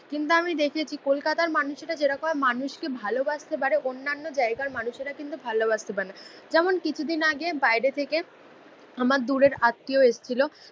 কিন্তু আমি দেখেছি কলকাতার মানুষেরা যেরকম ভাবে মানুষকে ভালোবাসতে পারে অন্যান্য জায়গার মানুষেরা কিন্তু ভালোবাসতে পারেনা। যেমন কিছুদিন আগে বাইরে থেকে আমার দূরের আত্মীয় এসছিল